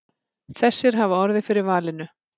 Þessir hafi orðið fyrir valinu.